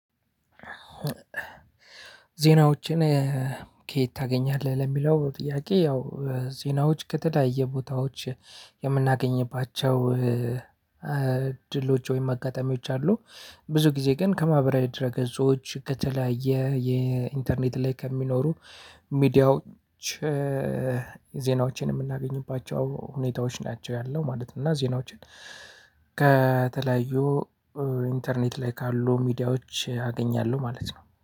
ዜናዎችን ከየት ታገኛለህ ለሚለው ጥያቄ? ያው ዜናዎች ከተለያየ ቦታዎች የምናገኝባቸው እድሎች ወይም አጋጠሚዎች አሉ። ብዙ ጊዜ ግን ከማህበራዊ ድረ ገጾች ከተለያየ የኢንተርኔት ላይ ከሚኖሩ ሚዲያዎች። ዜናዎችን የምናገኝባቸው ሁኔታዎች ናቸው ያለው ማለት ነው። እና ዜናዎችን ከተለያዩ ኢንተርኔት ላይ ካሉ ሚዲያዎች አገኛለሁ ማለት ነው